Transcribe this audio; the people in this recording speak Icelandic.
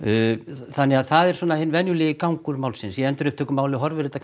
þannig það er svona hinn venjulegi gangur málsins í endurupptökumáli horfir þetta